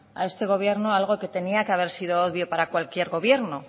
a este gobierno algo que tenía que haber sido obvio para cualquier gobierno